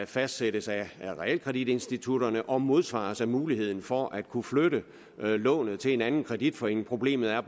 fastsættes af realkreditinstitutterne og modsvares af muligheden for at kunne flytte lånet til en anden kreditforening problemet er